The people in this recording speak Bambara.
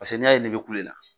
Paseke ne y'a ye ne be kulo la